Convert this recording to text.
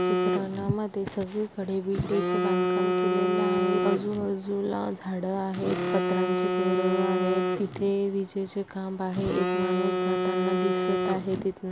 चित्रानया मध्ये सगळीकडे विटेचे बांधकाम केलेले आहे आजू-बाजूला झाडं आहेत पत्र्यांची घरं आहेत तिथे विजेचे खांब आहै एक माणूस जाताना दीसत आहे. तिथनं--